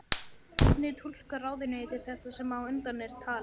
Hvernig túlkar ráðuneytið þetta sem á undan er talið?